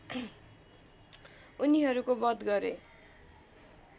उनीहरूको वध गरे